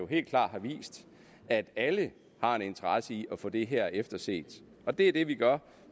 helt klart har vist at alle har en interesse i at få det her efterset og det er det vi gør